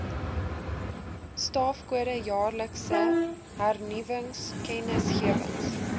staafkode jaarlikse hernuwingskennisgewings